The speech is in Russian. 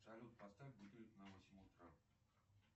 салют поставь будильник на восемь утра